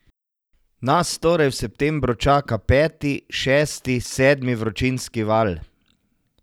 Nas torej v septembru čaka peti, šesti, sedmi vročinski val?